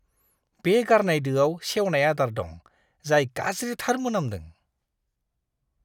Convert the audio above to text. बे गारनाय दोआव सेवनाय आदार दं, जाय गाज्रिथार मोनामदों।